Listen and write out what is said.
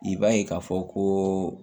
I b'a ye k'a fɔ koo